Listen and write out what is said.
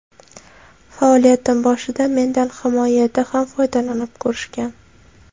Faoliyatim boshida mendan himoyada ham foydalanib ko‘rishgan.